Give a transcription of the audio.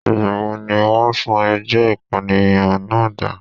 Ìgbà wo ni wọ́n sún ẹjọ́ ìpànìyàn náà dà?